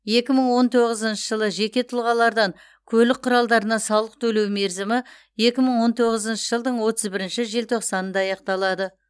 екі мың он тоғызыншы жылы жеке тұлғалардан көлік құралдарына салық төлеу мерзімі екі мың он тоғызыншы жылдың отыз бірінші желтоқсанында аяқталады